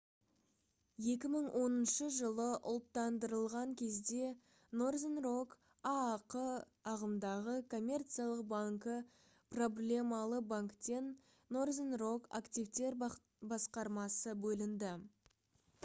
2010 жылы ұлттандырылған кезде northern rock аақ ағымдағы коммерциялық банкі проблемалы банктен northern rock активтер басқармасы бөлінді